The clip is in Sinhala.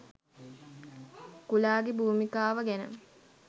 කුලාගේ භූමිකාව ගැන